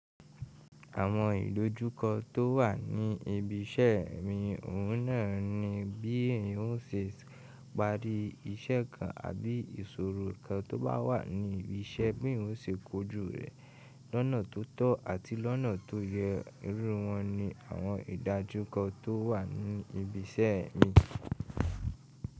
Àwọn ìdojúkọ tó wà ní ibi iṣẹ́ mi, òun náà ni bí n o ṣe parí iṣẹ́ kan àbí ìṣòro kan tó bá wà ní ibi iṣẹ́ bí òun ṣe kojú rẹ̀ lọ́nà tó tọ́ àti lọ́nà tó yẹ. Irú wọn ni àwọn ìdájúkọ tó wà ní ibi iṣẹ́ mi.